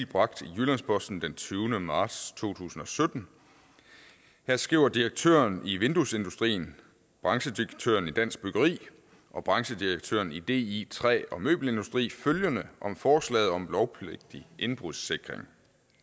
bragt i jyllands posten den tyvende marts to tusind og sytten her skriver direktøren i vinduesindustrien branchedirektøren i dansk byggeri og branchedirektøren i di træ og møbelindustri følgende om forslaget om lovpligtig indbrudssikring